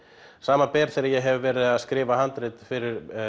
samanber þegar ég hef verið að skrifa handrit fyrir